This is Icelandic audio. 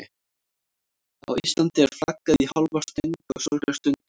Á Íslandi er flaggað í hálfa stöng á sorgarstundum.